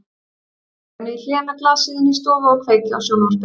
Ég dreg mig í hlé með glasið inn í stofu og kveiki á sjónvarpinu.